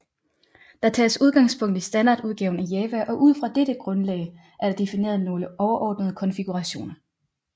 Der tages udgangspunkt i standardudgaven af java og ud fra dette grundlag er der defineret nogle overordnede konfigurationer